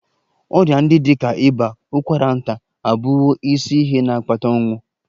Ọrịa ndị dị ka ịba, ụkwara nta abụwo isi ihe na-akpata ọnwụ